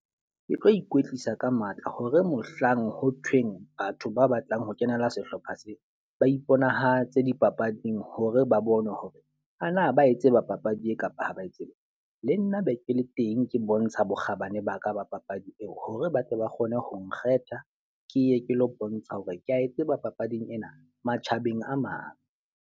Ke tlo ikwetlisa ka matla hore, mohlang ho thweng batho ba batlang ho kenela sehlopha seo, ba iponahatse dipapading hore ba bone hore a na ba etse ba papadi eo kapa ha ba e tsebe. Le nna be ke le teng ke bontsha bokgabane ba ka ba papadi eo. Hore ba tle ba kgone ho nkgetha, ke ye ke lo bontsha hore ke a e tseba papading ena matjhabeng a mang.